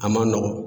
A man nɔgɔn